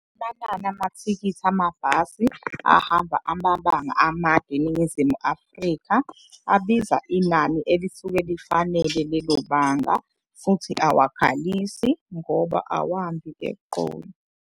Amanani amathikithi amabhasi ahamba amabanga amade eNingizimu Afrika abiza inani elisuke lifanele lelo banga. Futhi awakhalisi ngoba awambi eqolo.